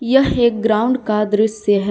यह एक ग्राउंड का दृश्य है।